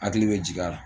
Hakili bɛ jigi a la